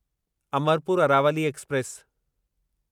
Amarpur Aravali express